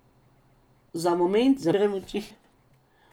Za moment zaprem oči.